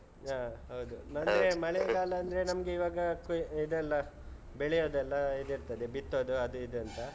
ಹಾ ಹೌದು. ನನ್ಗೆ ಮಳೆಗಾಲ ಅಂದ್ರೆ ನಮ್ಗೆ ಇವಾಗ ಇದೆಲ್ಲ ಬೆಳೆಯೋದೆಲ್ಲ ಇದಿರ್ತದೆ ಬಿತ್ತೋದು ಅದು ಇದು ಅಂತ.